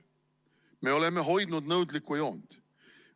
Me oleme hoidnud nõudlikku joont.